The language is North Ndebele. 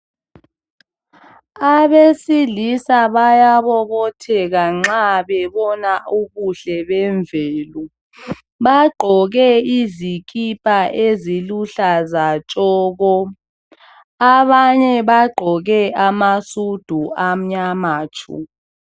Abesilisa bayabobotheka uma bebona ubuhle bemvelo bagqoke izikipa eziluhlaza tshoko abanye bagqoke amasudu amnyama tshu.